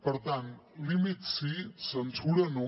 per tant límits sí censura no